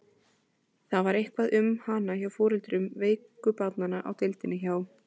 Það var eitthvað um hana hjá foreldrum veiku barnanna á deildinni hjá